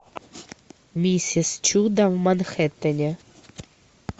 миссис чудо в манхэттене